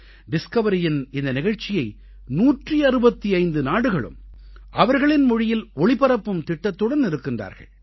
டிஸ்கவரியின் இந்த நிகழ்ச்சியை 165 நாடுகளும் அவர்களின் மொழியில் ஒளிபரப்பும் திட்டத்துடன் இருக்கிறார்கள்